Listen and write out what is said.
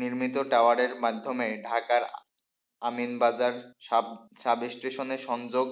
নির্মিত টাওয়ারের মাধ্যমে ঢাকার আমিনবাজার সাব সাব স্টেশনে সংযোগ,